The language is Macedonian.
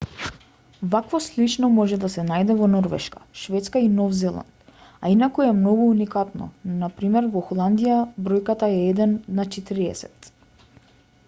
вакво слично може да се најде во норвешка шведска и нов зеланд a инаку е многу уникатно на пр. во холандија бројката е еден на четириесет